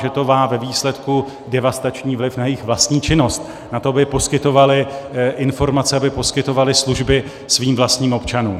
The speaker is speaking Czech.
že to má ve výsledku devastační vliv na jejich vlastní činnost, na to, aby poskytovaly informace, aby poskytovaly služby svým vlastním občanům.